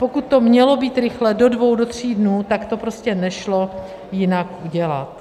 Pokud to mělo být rychle, do dvou, do tří dnů, tak to prostě nešlo jinak udělat.